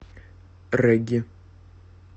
регги